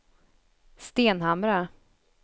Stenhamra